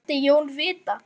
vildi Jón vita.